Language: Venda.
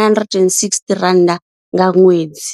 R960 nga ṅwedzi.